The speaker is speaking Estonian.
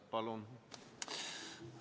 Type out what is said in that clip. Palun!